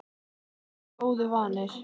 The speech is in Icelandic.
Þeir voru góðu vanir.